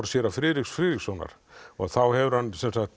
séra Friðriks Friðrikssonar og þá hefur hann